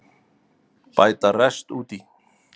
Bæta rest út í